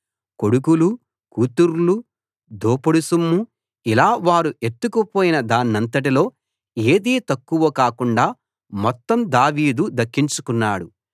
కొడుకులూ కూతుర్లూ దోపుడు సొమ్ము ఇలా వారు ఎత్తుకుపోయిన దానంతటిలో ఏదీ తక్కువ కాకుండా మొత్తం దావీదు దక్కించుకున్నాడు